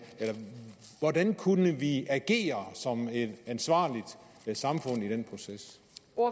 hvordan kunne vi agere som et ansvarligt samfund i den proces